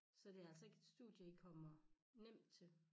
Så det er altså ikke et studie i kommer nemt til